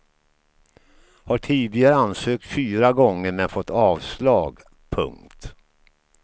Har tidigare ansökt fyra gånger men fått avslag. punkt